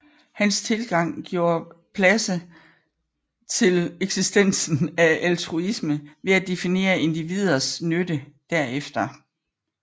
Hans tilgang gjorde pladse til eksistensen af altruisme ved at definere individers nytte derefter